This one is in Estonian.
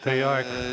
Teie aeg!